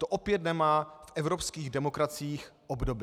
To opět nemá v evropských demokraciích obdoby.